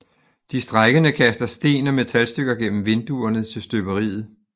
De strejkende kaster sten og metalstykker gennem vinduerne til støberiet